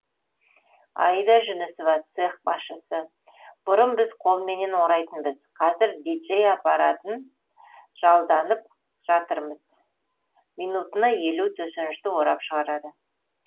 аида жүнісова цех басшысы бұрын біз қолменен орайтынбыз қазір диджей апаратын жалданып жатырмыз минутына елу төсенішті орап шығарады